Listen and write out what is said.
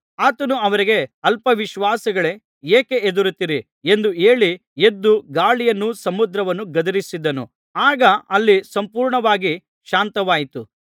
ಆತನು ಅವರಿಗೆ ಅಲ್ಪ ವಿಶ್ವಾಸಿಗಳೇ ಏಕೆ ಹೆದರುತ್ತೀರಿ ಎಂದು ಹೇಳಿ ಎದ್ದು ಗಾಳಿಯನ್ನೂ ಸಮುದ್ರವನ್ನೂ ಗದರಿಸಿದನು ಆಗ ಅಲ್ಲಿ ಸಂಪೂರ್ಣವಾಗಿ ಶಾಂತವಾಯಿತು